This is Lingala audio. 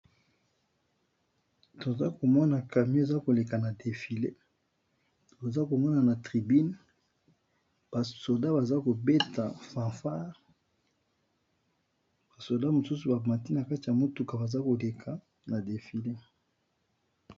Toza komona camion eza koleka na defile, toza komona na tribune basoda baza kobeta fanfare basoda mosusu bamati na kati ya motuka baza koleka na defile.